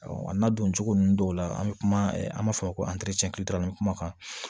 a n'a doncogo ninnu dɔw la an bɛ kuma an b'a fɔ ko kumakan